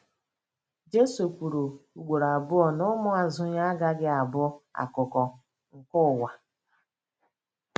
Jesu kwuru ugboro abụọ na ụmụazụ ya agaghị abụ akụkụ nke ụwa.